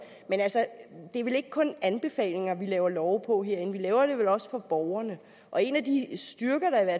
men det er vel ikke kun anbefalinger vi laver love på herinde vi laver dem vel også for borgerne en af de styrker der